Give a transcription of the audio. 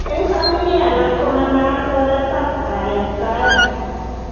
Eng' familia alak ko manaat oretab kayaptaet